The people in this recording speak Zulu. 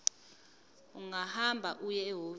ungahamba uye ehhovisi